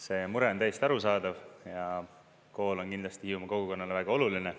See mure on täiesti arusaadav ja kool on kindlasti Hiiumaa kogukonnale väga oluline.